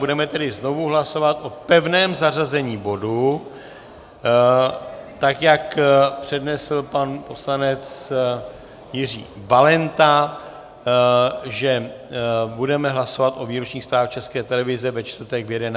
Budeme tedy znovu hlasovat o pevném zařazení bodu, tak jak přednesl pan poslanec Jiří Valenta, že budeme hlasovat o výročních zprávách České televize ve čtvrtek v 11 hodin.